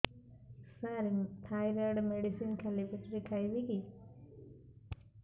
ସାର thyroid medicine ଖାଲି ପେଟରେ ଖାଇବି କି